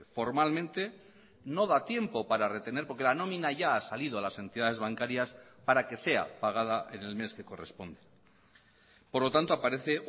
formalmente no da tiempo para retener porque la nómina ya ha salido a las entidades bancarias para que sea pagada en el mes que corresponde por lo tanto aparece